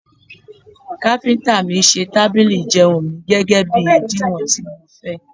Káfíntà mi ṣe tábìlì ìjẹun mi, gẹ́gẹ́bí ìdiwọ̀n tí mo fẹ́.